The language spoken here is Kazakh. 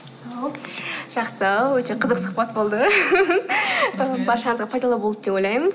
ал жақсы өте қызықты сұхбат болды ы баршаңызға пайдалы болды деп ойлаймыз